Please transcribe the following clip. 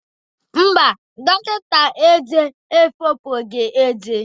Mba, dọkịta ezé efopụghị ezé